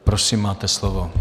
Prosím, máte slovo.